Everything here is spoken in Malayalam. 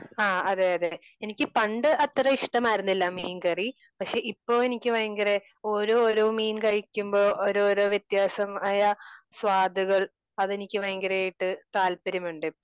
ആ അതേ അതേ എനിക്ക് പണ്ട് അത്ര ഇഷ്ടമായിരുന്നില്ല മീൻകറി. പക്ഷേ ഇപ്പോൾ എനിക്ക് ഭയങ്കര ഓരോ മീൻ കഴിക്കുമ്പോ ഓരോരോ വ്യത്യാസംആയ സ്വാദുകൾ അത് എനിക്ക് ഭയങ്കരമായിട്ട് താല്പര്യമുണ്ട് ഇപ്പോൾ